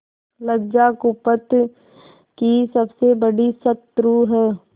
लज्जा कुपथ की सबसे बड़ी शत्रु है